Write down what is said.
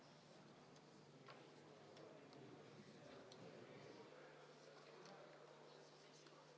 Kas Riigikogu liikmetel on hääletamise korraldamise kohta proteste?